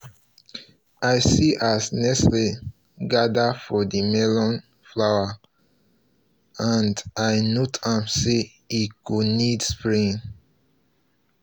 i see as nettles gather for the melon flowers and i note am say e go need spraying